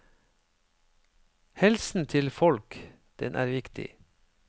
Helsen til folk, den er viktig.